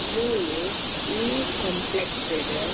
ಮೂಲು ಈ ಕಾಂಪ್ಲೆಕ್ಸ್ ಡ್--